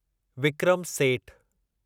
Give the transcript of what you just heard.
Vikram Seth